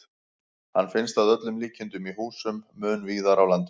Hann finnst að öllum líkindum í húsum mun víðar á landinu.